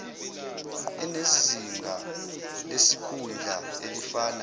enezinga lesikhundla elifana